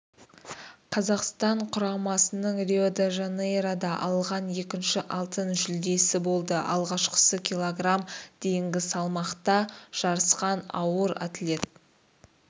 қазақстан құрамасының рио-де-жанейрода алған екінші алтын жүлдесі болды алғашқысын кг дейінгі салмақта жарысқан ауыр атлет